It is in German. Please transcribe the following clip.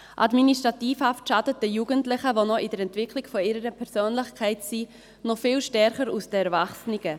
Administrativhaft schadet den Jugendlichen, die in der Entwicklung ihrer Persönlichkeit sind, noch viel stärker als den Erwachsenen.